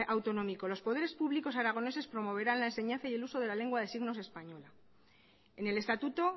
autonómico los poderes públicos aragoneses promoverán la enseñanza y el uso de la lengua de signos española en el estatuto